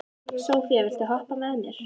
Sophia, viltu hoppa með mér?